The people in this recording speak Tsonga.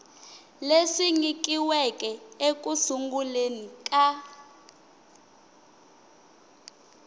leswi nyikiweke eku sunguleni ka